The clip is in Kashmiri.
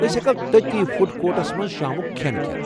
أسۍ ہٮ۪کو تٔتۍ فُڈ کورٹس منٛز شامُک كھین کھٮ۪تھ۔